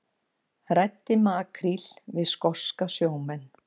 Ræddi makríl við skoska sjómenn